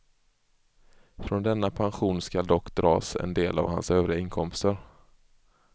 Från denna pension ska dock dras en del av hans övriga inkomster.